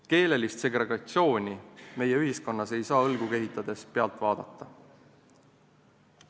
Keelelist segregatsiooni meie ühiskonnas ei saa õlgu kehitades pealt vaadata.